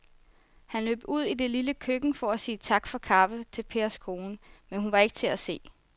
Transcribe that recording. Han løb ud i det lille køkken for at sige tak for kaffe til Pers kone, men hun var ikke til at se.